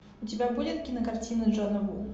у тебя будет кинокартина джона ву